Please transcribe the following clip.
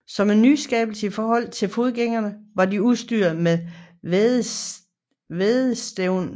Som en nyskabelse i forhold til forgængerne var de udstyret med vædderstævn